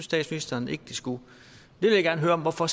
statsministeren ikke de skulle jeg vil gerne høre hvorfor